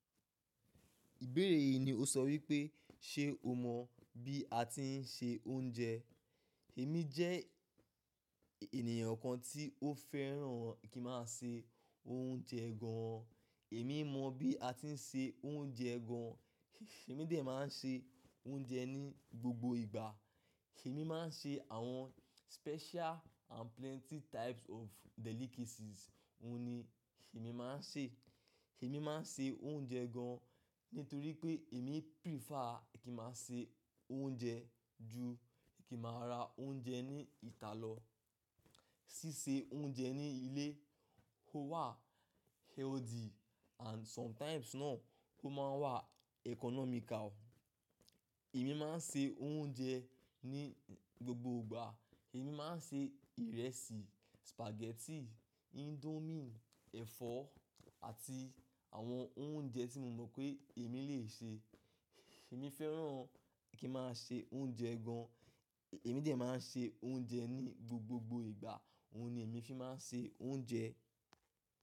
Ìbéèrè yìí ni ó sọ wípé, ṣe o mọ̀ bí a tí ń sè oúnjẹ? Èmi jẹ́ ènìyàn kan tí ó fẹ́ràn kí n máa sè oúnjẹ gan. Èmi mọ̀ bí a tí ń sè oúnjẹ gan. Èmi dẹ̀ máa ń ṣe oúnjẹ ní gbogbo ìgbà. Èmi máa ń ṣe àwọn special and plenty types of delicacies. Ohun ni èmi máa ń ṣe. Èmi máa ń sè oúnjẹ gan an nítorí pé èmi prefer kí n máa sè oúnjẹ ju kí n máa ra oúnjẹ ní ìta lọ. Sísè oúnjẹ ní ilé ó wà healthy and sometimes náà ó máa wà economical. Èmi máa ń sè oúnjẹ ní gbogbo ìgbà. Èmi máa ń sè ìrẹsì, spaghetti, indomie, ẹ̀fọ́ àti àwọn oúnjẹ tí mo mọ̀ pé èmi lè ṣe. Èmi fẹ́ràn kí n máa sè oúnjẹ gan an. Èmi dẹ̀ máa ń ṣe oúnjẹ ní gbogbo ìgbà. Ohun ni èmi fi máa ń ṣe oúnjẹ.